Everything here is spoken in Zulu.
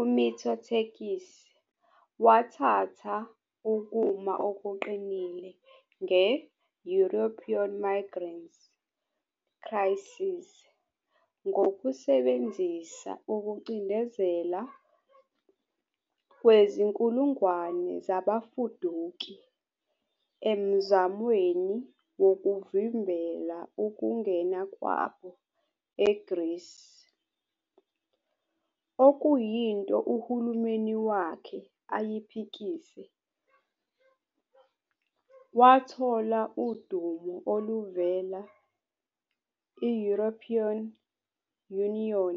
UMitsotakis wathatha ukuma okuqinile nge-European Migrant Crisis ngokusebenzisa ukucindezela kwezinkulungwane zabafuduki emzamweni wokuvimbela ukungena kwabo eGreece, okuyinto uhulumeni wakhe ayiphikise. Wathola udumo oluvela I-European Union